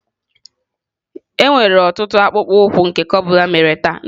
Enwere ọtụtụ akpụkpọ ụkwụ nke cobble mere taa.